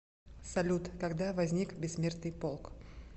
салют когда возник бессмертный полк